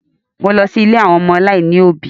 Mo lọ sí ilé àwọn ọmọ aláìní òbí.